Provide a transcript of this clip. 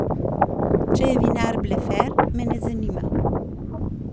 Če je vinar blefer, me ne zanima.